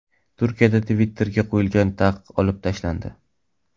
Turkiyada Twitter’ga qo‘yilgan taqiq olib tashlandi.